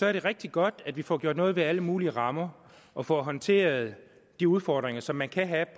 er det rigtig godt at vi får gjort noget ved alle mulige rammer og får håndteret de udfordringer som man kan have